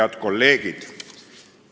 Head kolleegid!